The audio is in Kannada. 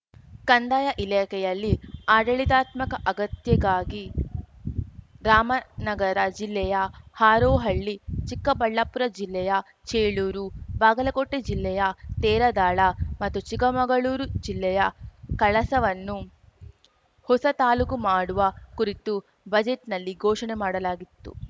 ಕಂದಾಯ ಇಲಾಖೆಯಲ್ಲಿ ಆಡಳಿತಾತ್ಮಕ ಅಗತ್ಯಗಾಗಿ ರಾಮನಗರ ಜಿಲ್ಲೆಯ ಹಾರೋಹಳ್ಳಿ ಚಿಕ್ಕಬಳ್ಳಾಪುರ ಜಿಲ್ಲೆಯ ಚೇಳೂರು ಬಾಗಲಕೋಟೆ ಜಿಲ್ಲೆಯ ತೇರದಾಳ ಮತ್ತು ಚಿಕ್ಕಮಗಳೂರು ಜಿಲ್ಲೆಯ ಕಳಸವನ್ನು ಹೊಸ ತಾಲೂಕು ಮಾಡುವ ಕುರಿತು ಬಜೆಟ್‌ನಲ್ಲಿ ಘೋಷಣೆ ಮಾಡಲಾಗಿತ್ತು